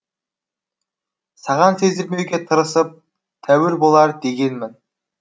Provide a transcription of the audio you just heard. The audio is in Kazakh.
саған сездірмеуге тырысып тәуір болар дегенмін